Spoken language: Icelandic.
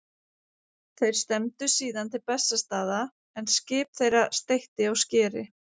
Ef verðbólga lækkar, þá lækkar ekki höfuðstóllinn.